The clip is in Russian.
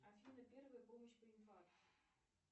афина первая помощь при инфаркте